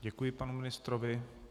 Děkuji panu ministrovi.